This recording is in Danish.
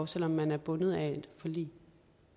selv om man er bundet af et forlig